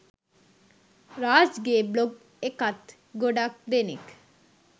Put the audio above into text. රාජ්ගේ blog එකත් ගොඩක් දෙනෙක්